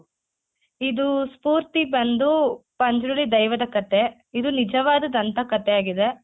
ಇದು ಸ್ಪೂರ್ತಿ ಬಂದು ಪಂಜುರ್ಲಿ ದೈವದ ಕಥೆ ಇದು ನಿಜವಾದ ದಂತಕಥೆಯಾಗಿದೆ.